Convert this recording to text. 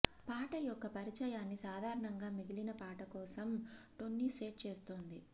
పాట యొక్క పరిచయాన్ని సాధారణంగా మిగిలిన పాట కోసం టోన్ని సెట్ చేస్తుంది